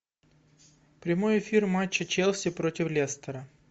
прямой эфир матча челси против лестера